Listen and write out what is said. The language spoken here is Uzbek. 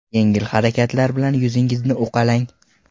Yengil harakatlar bilan yuzingizni uqalang.